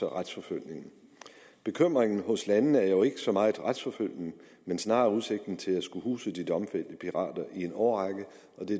retsforfølge bekymringen hos landene er jo ikke så meget retsforfølgning men snarere udsigten til at skulle huse de domfældte pirater i en årrække og